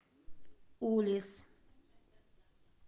улисс